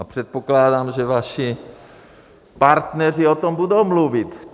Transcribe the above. A předpokládám, že vaši partneři o tom budou mluvit.